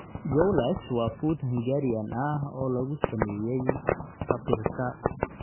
Goulash waa fuud Hungarian ah oo lagu sameeyay paprika.